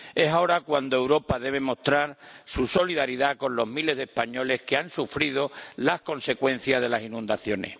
Es ahora cuando Europa debe mostrar su solidaridad con los miles de españoles que han sufrido las consecuencias de las inundaciones.